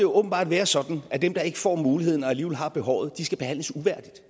åbenbart være sådan at dem der ikke får muligheden og alligevel har behovet skal behandles uværdigt